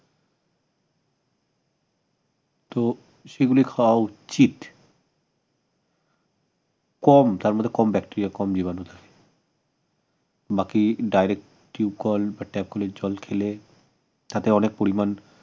তো সেগুলি খাওয়া উচিত কম তার মধ্যে কম bacteria জীবাণু থাকে বাকি direct টিব কল বা tab কলের জল খেলে তাতে অনেক পরিমান